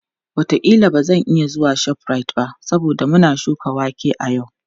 Wataƙila ba zan iya zuwa ShopRite ba saboda muna shuka wake a yau.